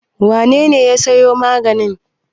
Wane ne ya sayo magani?